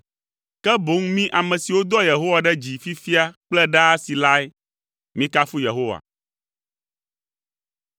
ke boŋ mí ame siwo doa Yehowa ɖe dzi fifia kple ɖaasi lae. Mikafu Yehowa.